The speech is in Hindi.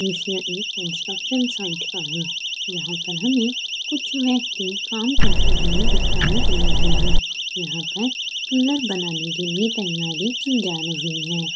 ये द्रश्य एक कंस्ट्रक्शन साइट का है जहाँ पर हमे कुछ व्यक्ति काम करते हुए दिखाई दे रहे है यहाँ पर कलर बनाने की भी तैयारी भी की जा रही है।